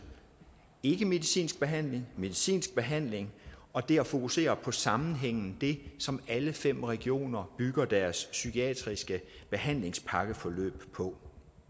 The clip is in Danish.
ikkemedicinsk behandling medicinsk behandling og det at fokusere på sammenhængen er det som alle fem regioner bygger deres psykiatriske behandlingspakkeforløb på